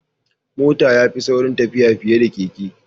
Mota ya fi sauri tafiya fiye da keke.